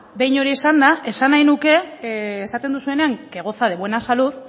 behin hori esanda esan nahi nuke esaten duzuenean que goza de buena salud